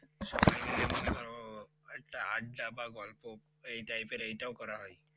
আড্ডা বা গল্প এই type এর এটাও করা হয়